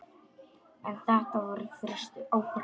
En þetta voru fyrstu árin.